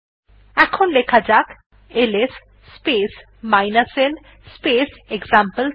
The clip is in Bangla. এখন লেখা যাক LS space l space example three